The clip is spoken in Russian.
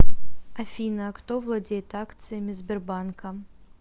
афина а кто владеет акциями сбербанка